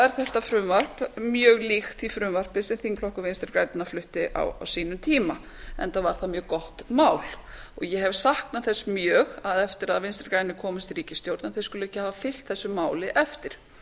er þetta frumvarp mjög líkt því frumvarpi sem þingflokkur vinstri grænna flutti á sínum tíma enda var það mjög gott mál ég hef saknað þess mjög að eftir að vinstri grænir komust í ríkisstjórn skuli þeir ekki hafa fylgt þessu máli eftir